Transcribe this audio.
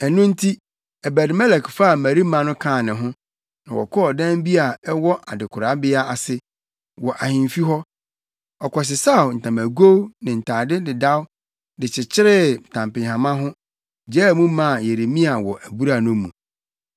Ɛno nti Ebed-Melek faa mmarima no kaa ne ho, na wɔkɔɔ ɔdan bi a ɛwɔ adekorabea ase, wɔ ahemfi hɔ. Ɔkɔsesaw ntamagow ne ntade dedaw de kyekyeree ntampehama ho, gyaa mu maa Yeremia wɔ abura no mu.